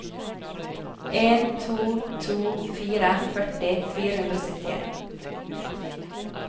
en to to fire førti fire hundre og syttien